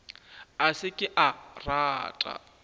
a se ke a rata